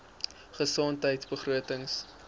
gesondheidbegrotings